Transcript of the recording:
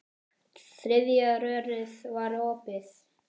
Þriðja rörið var opið.